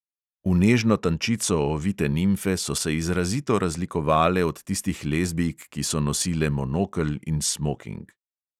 V nežno tančico ovite nimfe so se izrazito razlikovale od tistih lezbijk, ki so nosile monokel in smoking.